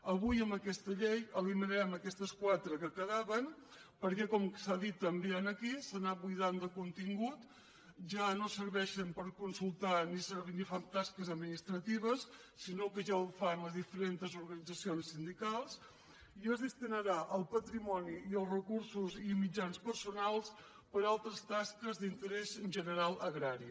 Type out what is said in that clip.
avui amb aquesta llei eliminarem aquestes quatre que queda·ven perquè com s’ha dit també aquí s’han anat bui·dant de contingut ja no serveixen per consultar ni fan tasques administratives sinó que ja ho fan les diferents organitzacions sindicals i es destinarà el patrimoni i els recursos i mitjans personals per a altres tasques d’interès general agrari